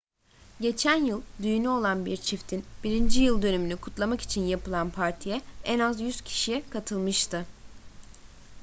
geçen yıl düğünü olan bir çiftin birinci yıl dönümünü kutlamak için yapılan partiye en az 100 kişi katılmıştı